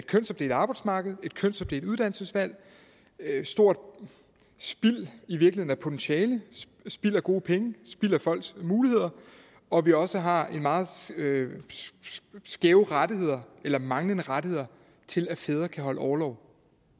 kønsopdelt arbejdsmarked et kønsopdelt uddannelsesvalg et stort spild i virkeligheden af potentiale spild af gode penge spild af folks muligheder og at vi også har skæve rettigheder eller manglende rettigheder til at fædre kan holde orlov